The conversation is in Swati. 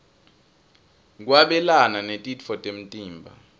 kwabelana netitfo temtimba